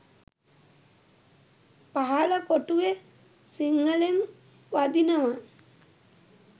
පහල කොටුවෙ සිංහලෙන් වදිනව